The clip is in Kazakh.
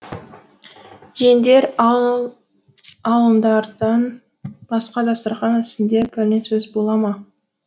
жеңдер алыңдардан басқа дастарқан үстінде пәлен сөз бола ма